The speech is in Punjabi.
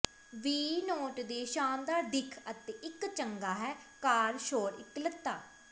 ਵੀ ਨੋਟ ਦੇ ਸ਼ਾਨਦਾਰ ਦਿੱਖ ਅਤੇ ਇੱਕ ਚੰਗਾ ਹੈ ਕਾਰ ਸ਼ੋਰ ਇਕੱਲਤਾ